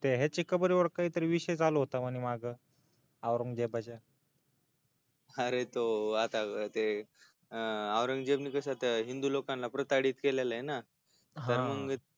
ह्याची कबरवर काय तरी विषय झाला होता बरे माग औंरगजेबाच्या आरे तो आता ते औंरंगजेबाना कस हिेदू लोकांना प्रताहडित केललय ना हा